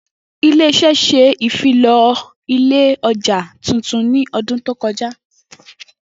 Ile-iṣẹ ṣe ifilọlẹ ọja tuntun ni ọdun to kọja.